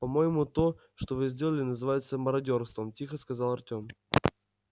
по-моему то что вы сделали называется мародёрством тихо сказал артём